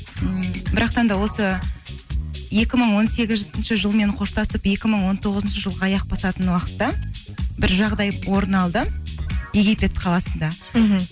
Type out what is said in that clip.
м бірақтан да осы екі мың он сегізінші жылмен қоштасып екі мың он тоғызыншы жылға аяқ басатын уақытта бір жағдай орын алды египет қаласында мхм